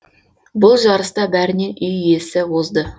бұл жарыста бәрінен үй иесі озды